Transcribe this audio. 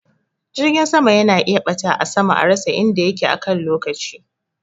Jirgin sama yana iya ɓata a sama a rasa inda yake akan lokaci